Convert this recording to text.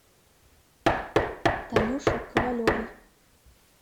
танюше ковалевой